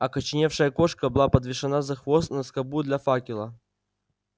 окоченевшая кошка была подвешена за хвост на скобу для факела